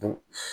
Bon